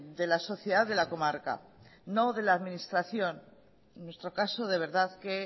de la sociedad de la comarca no de la administración en nuestro caso de verdad que